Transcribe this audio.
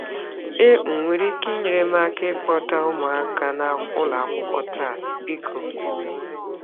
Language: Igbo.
Ị um nwere ike inyere m aka ịkpọta ụmụaka n'ụlọakwụkwọ taa, biko?